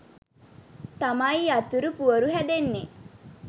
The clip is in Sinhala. තමයි යතුරු පුවරු හැදෙන්නෙ.